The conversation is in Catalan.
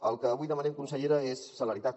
el que avui demanem consellera és celeritat